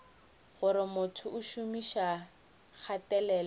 gore motho o šomiša kgatelelo